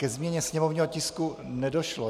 Ke změně sněmovního tisku nedošlo.